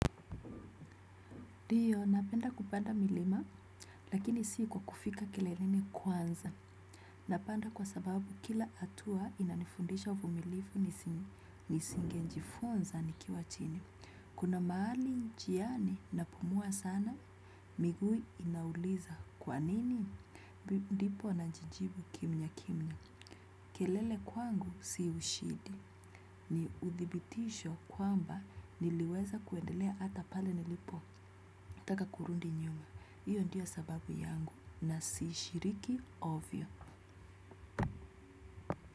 Ndio, napenda kupanda milima, lakini si kwa kufika keleleni kwanza. Napanda kwa sababu kila atua inanifundisha uvumilivu nisinge jifunza nikiwa chini. Kuna maali njiani na pumua sana, migui inauliza. Kwanini? Ndipo na jijibu kimya kimya. Kelele kwangu si ushidi. Ni uthibitisho kwamba niliweza kuendelea ata pale nilipo. Taka kurundi nyuma. Ndiyo sababu yangu na sishiriki ovyo.